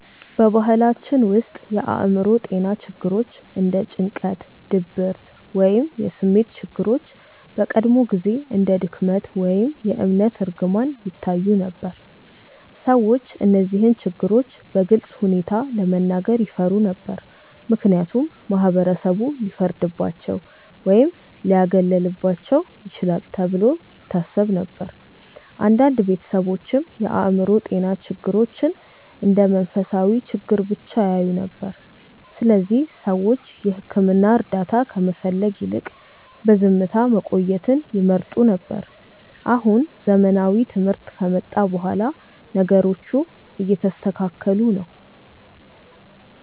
በባህላችን ውስጥ የአእምሮ ጤና ችግሮች እንደ ጭንቀት፣ ድብርት ወይም የስሜት ችግሮች በቀድሞ ጊዜ እንደ ድክመት ወይም የእምነት እርግማን ይታዩ ነበር። ሰዎች እነዚህን ችግሮች በግልፅ ሁኔታ ለመናገር ይፈሩ ነበር፣ ምክንያቱም ማህበረሰቡ ሊፈርድባቸው ወይም ሊያገለልባቸው ይችላል ተብሎ ይታሰብ ነበር። አንዳንድ ቤተሰቦችም የአእምሮ ጤና ችግሮችን እንደ መንፈሳዊ ችግር ብቻ ያዩ ነበር፣ ስለዚህ ሰዎች የሕክምና እርዳታ ከመፈለግ ይልቅ በዝምታ መቆየትን ይመርጡ ነበር። አሁን ዘመናዊ ትምህርት ከመጣ በኋላ ነገሮቹ እየተስተካከሉ ነው።